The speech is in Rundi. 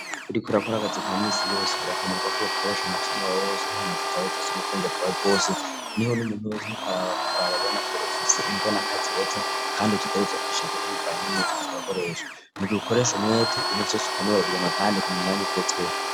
uriko urakora kazi ka minsi yose birakenerwa ko bakoresha umutima wawe wose n'inkomezi zawe zose n'ubwenge bwawe bwose, niho n'umuntu wese ariko arakora ababona ko ufise imbonakazoza kandi utegarezwa kwishima bivanye n,umwete uriko urakoresha, mugihe ukoresha umwete ibintu vyose urabironka kandi ku mwanya ugezweho.